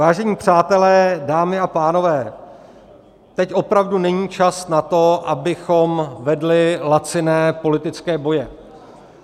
Vážení přátelé, dámy a pánové, teď opravdu není čas na to, abychom vedli laciné politické boje.